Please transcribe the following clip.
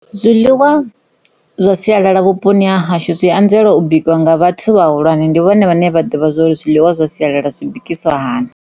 Zwiḽiwa zwa sialala vhuponi ha hashu zwi anzela u bikwa nga vhathu vhahulwane ndi vhone vhane vha ḓivha zwori zwiḽiwa zwa sialala zwi bikisiwa hani.